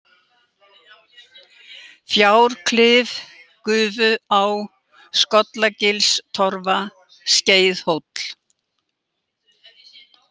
Fjárklif, Gufuá, Skollagilstorfa, Skeiðhóll